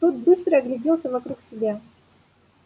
тот быстро огляделся вокруг себя